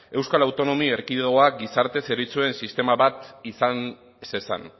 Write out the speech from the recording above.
euskal autonomia erkidegoak gizarte zerbitzuen sistema bat izan ez ezan